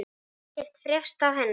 Hefur ekkert frést af henni?